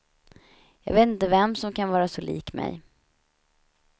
Jag vet inte vem som kan vara så lik mig.